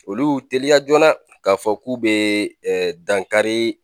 Olu y'u teliya joona k'a fɔ k'u bɛ dankari